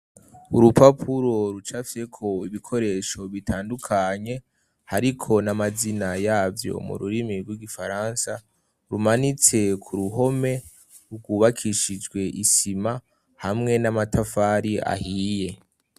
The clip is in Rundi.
Urupapuro rucafyeko ibikoresho bitandukanye. Hariko n'amazina yavyo mu rurimi rw'igifaransa. Rumanitse k'uruhome, rwubakishijwe isima hamwe n'amatafari ahiye.